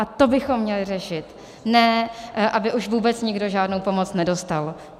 A to bychom měli řešit, ne aby už vůbec nikdo žádnou pomoc nedostal.